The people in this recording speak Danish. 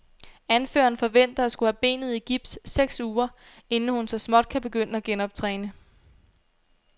Anføreren forventer at skulle have benet i gips seks uger, inden hun så småt kan begynde at genoptræne.